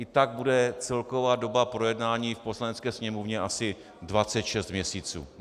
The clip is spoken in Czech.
I tak bude celková doba projednání v Poslanecké sněmovně asi 26 měsíců.